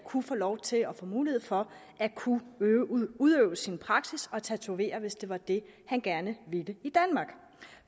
kunne få lov til og få mulighed for at kunne udøve sin praksis og tatovere hvis det var det han gerne ville